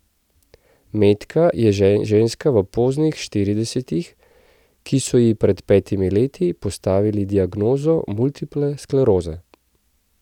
Metka je ženska v poznih štiridesetih, ki so ji pred petimi leti postavili diagnozo multiple skleroze.